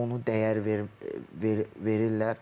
Onu dəyər verirlər.